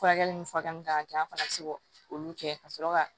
Furakɛli ni furakɛli kan ka kɛ an fana bɛ se olu kɛ ka sɔrɔ ka